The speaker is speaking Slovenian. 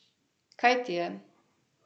Kaj ti je?